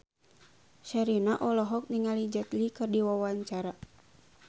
Sherina olohok ningali Jet Li keur diwawancara